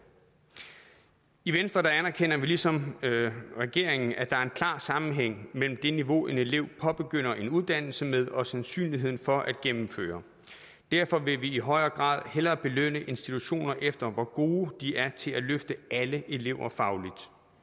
i venstre anerkender vi ligesom regeringen at der er en klar sammenhæng mellem det niveau en elev påbegynder en uddannelse med og sandsynligheden for at gennemføre derfor vil vi i højere grad hellere belønne institutioner efter hvor gode de er til at løfte alle elever fagligt